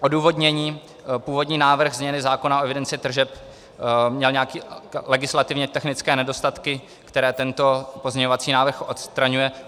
Odůvodnění: Původní návrh změny zákona o evidenci tržeb měl nějaké legislativně technické nedostatky, které tento pozměňovací návrh odstraňuje.